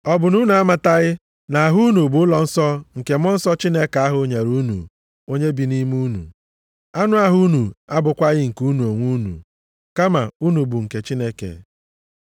Ọ bụ na unu amataghị na ahụ unu bụ ụlọnsọ nke Mmụọ Nsọ ahụ Chineke nyere unu, onye bi nʼime unu? Anụ ahụ unu abụkwaghị nke unu onwe unu, kama unu bụ nke Chineke.